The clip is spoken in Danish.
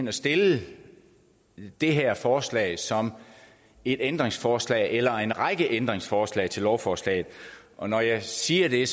at stille det her forslag som et ændringsforslag eller en række ændringsforslag til lovforslaget og når jeg siger det er